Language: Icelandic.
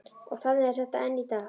Og þannig er þetta enn í dag.